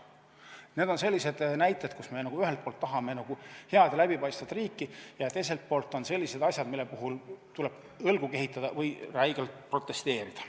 Need on sellised näited, kus me ühelt poolt tahame head ja läbipaistvat riiki ja teiselt poolt tuleb õlgu kehitada või räigelt protesteerida.